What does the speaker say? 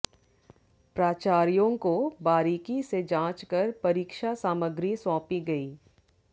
प्राचार्यों को बारीकी से जांच कर परीक्षा सामग्री सौंपी गई